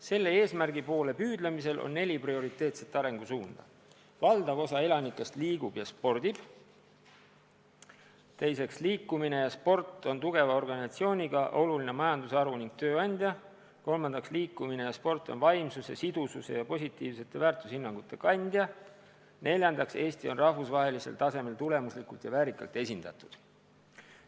Selle eesmärgi poole püüdlemisel on neli prioriteetset arengusuunda: esiteks, valdav osa elanikest liigub ja spordib; teiseks, liikumine ja sport on tugeva organisatsiooniga oluline majandusharu ning tööandja; kolmandaks, liikumine ja sport on vaimsuse, sidususe ja positiivsete väärtushinnangute kandja; neljandaks, Eesti on rahvusvahelisel tasemel tulemuslikult ja väärikalt esindatud.